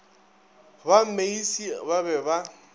ba meisie ba be ba